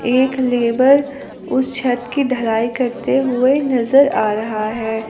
एक लेबर उस छत की ढलाई करते हुए नजर आ रहा है।